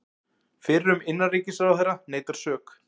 Fyrrum innanríkisráðherra neitar sök